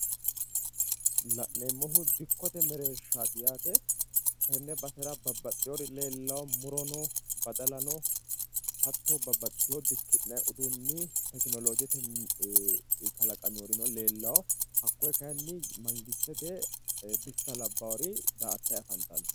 la'neemmohu dikkote mereershaati yaate. Tenne basera babbaxxewori leellawo murono badalano hattono dikki'nanni uduunni tekinoloojete kalanqoonnirino leellanno. hakkoye kayiinni mangistete bissa labbawori daa'attanni afantanno.